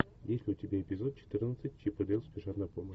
есть ли у тебя эпизод четырнадцать чип и дейл спешат на помощь